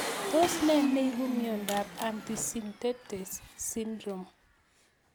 Tos nee neipu miondop antisynthetase syndrome